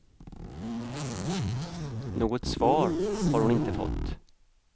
Något svar har hon inte fått.